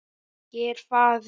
Ég er faðir.